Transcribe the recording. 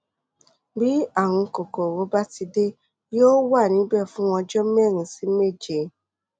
bí ààrùn kòkòrò bá ti dé yóò wà níbẹ fún ọjọ mẹrin sí méje